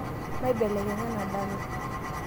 maibelekenya ena dala